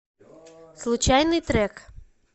случайный трек